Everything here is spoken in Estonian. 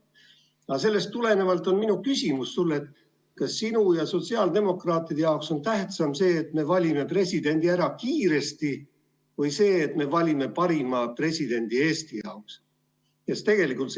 Aga sellest tulenevalt on minu küsimus sulle järgmine: kas sinu ja teiste sotsiaaldemokraatide jaoks on tähtsam see, et me valime presidendi kiiresti, või see, et me valime Eestile parima presidendi?